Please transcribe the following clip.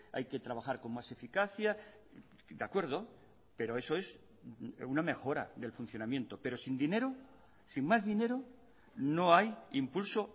hay que trabajar con más eficacia de acuerdo pero eso es una mejora del funcionamiento pero sin dinero sin más dinero no hay impulso